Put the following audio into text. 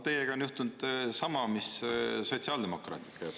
Teiega on juhtunud sama, mis sotsiaaldemokraatidega.